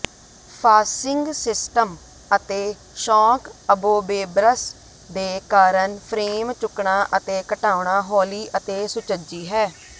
ਫਾਸਿੰਗ system ਅਤੇ shock absorbers ਦੇ ਕਾਰਨ ਫਰੇਮ ਚੁੱਕਣਾ ਅਤੇ ਘਟਾਉਣਾ ਹੌਲੀ ਅਤੇ ਸੁਚੱਜੀ ਹੈ